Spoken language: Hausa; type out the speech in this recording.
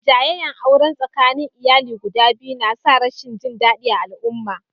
Jayayyan auren tsakanin iyali guda biyun na sa rashin jin dadi a alumman.